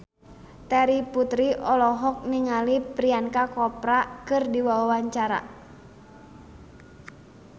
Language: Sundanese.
Terry Putri olohok ningali Priyanka Chopra keur diwawancara